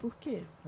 Por quê?